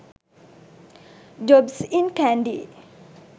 jobs in kandy